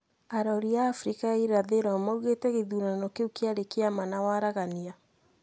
Arori a Afrika ya irathiro maugite githurano kiu kiari kia ma na waragania,